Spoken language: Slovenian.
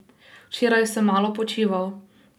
Včeraj sem malo počival.